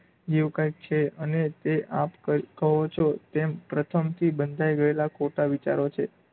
એવું કાઇંક છે, અને તે આપ કહો છો તેમ પ્રથમથી બંધાઈ ગયેલાં ખોટાં વિચારો છે.